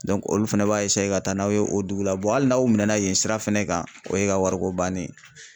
olu fɛnɛ b'a ka taa n'aw ye o dugu la hali n'aw minɛ na yen sira fɛnɛ kan o ye ka wariko bannen ye.